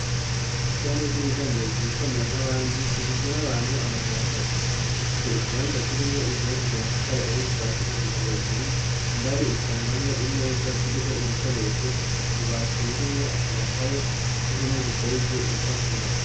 Ishami ry'ubudandaji ryitwa mera nk'abandi rigizwe n'abantu amajana atatu, rifise ikibanza kirimwo inzu yubakishije amatafari ahiye kuva hasi gushika hejuru, indani usangamwo imeza ziriko ibikoresho, ububati burimwo amakaye n'impome zisharije ibipapuro.